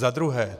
Za druhé.